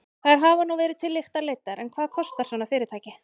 Þær hafa nú verið til lykta leiddar en hvað kostar svona fyrirtæki?